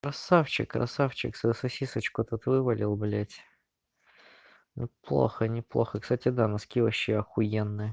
красавчик красавчик за сосисочку это твой болел блять плохо неплохо кстати да носки вообще ахуенные